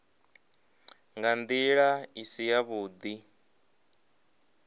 nga ndila i si yavhudi